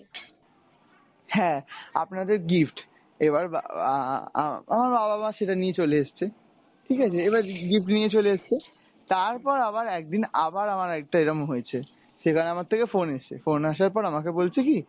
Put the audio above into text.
হ্যাঁ আপনাদের gift এবার আমার বাবা মা সেটা নিয়ে চলে এসছে। ঠিকাছে এবার gift নিয়ে চলে এসছে। তারপর আবার একদিন আবার আমার একটা এরম হয়েছে সেখানে আমার থেকে phone এসছে phone আসার পর আমাকে বলছে কী